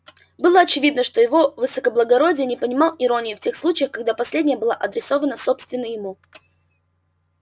было очевидно что его высокоблагородие не понимал иронии в тех случаях когда последняя была адресована собственно ему